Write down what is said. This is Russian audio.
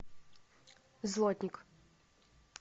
злотник